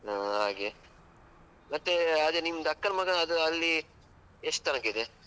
ಹಾ ಹಾಗೆ, ಮತ್ತೆ ಅದೇ ನಿಮ್ದು ಅಕ್ಕನ ಮಗದ್ದು ಅದು ಅಲ್ಲಿ, ಎಷ್ಟು ತನಕ ಇದೆ?